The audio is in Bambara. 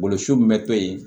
Golo su be to yen